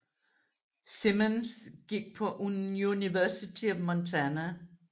Simmons gik på University of Montana